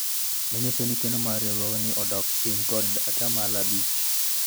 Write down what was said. manyiso ni keno mar riwruok odok piny kod atamalo abich